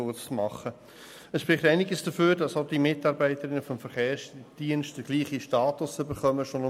Es spricht einiges dafür, dass die Mitarbeitenden des Verkehrsdienstes denselben Status wie die Polizei erhalten.